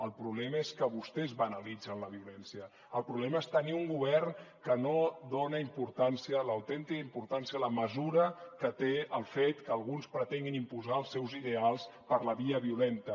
el problema és que vostès banalitzen la violència el problema és tenir un govern que no dona importància l’autèntica importància a la mesura que té el fet que alguns pretenguin imposar els seus ideals per la via violenta